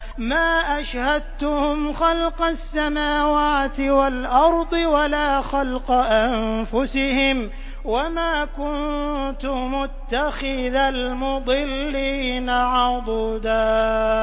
۞ مَّا أَشْهَدتُّهُمْ خَلْقَ السَّمَاوَاتِ وَالْأَرْضِ وَلَا خَلْقَ أَنفُسِهِمْ وَمَا كُنتُ مُتَّخِذَ الْمُضِلِّينَ عَضُدًا